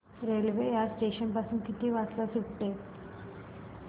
railway या station पासून किती वाजता सुटते